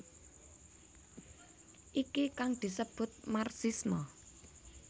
Iki kang disebut marxisme